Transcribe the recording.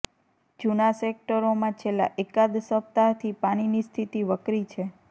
જુના સેક્ટરોમાં છેલ્લા એકાદ સપ્તાહથી પાણીની સ્થિતિ વકરી છે